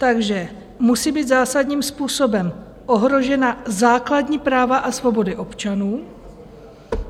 Takže musí být zásadním způsobem ohrožena základní práva a svobody občanů.